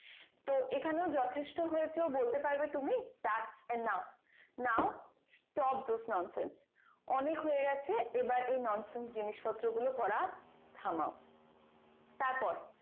তো এখানেও যথেষ্ট হয়েছেও বলতে পারবে তুমি thats enough নাও stop this nonsense অনেক হয়ে গেছে এবার এই nonsense জিনিস প্রত্র গুলো করা থামাও তারপর